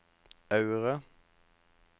Aure